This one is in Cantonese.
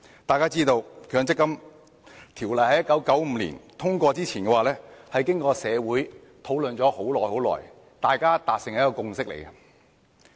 大家知道，《強制性公積金計劃條例》在1995年通過之前，社會經過長時間討論，大家才達成共識。